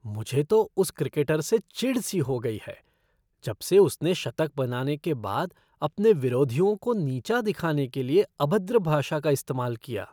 मुझे तो उस क्रिकेटर से चिढ़ सी हो गई है जबसे उसने शतक बनाने के बाद अपने विरोधियों को नीचा दिखाने के लिए अभद्र भाषा का इस्तेमाल किया।